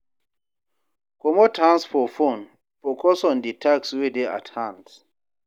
Comot hand for phone, focus on di task wey dey at hand